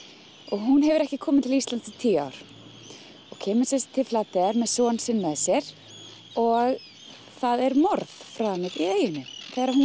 hún hefur ekki komið til Íslands í tíu ár og kemur sem sagt til Flateyjar með son sinn með sér og það er morð framið í eyjunni þegar hún